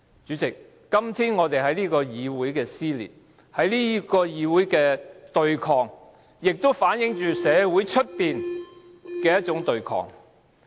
主席，今天這個議會的撕裂，這個議會的對抗，也反映出外面社會的對抗。